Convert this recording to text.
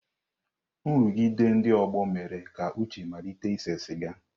Nrụgide ndị ọgbọ mere ka Uche malite ise siga.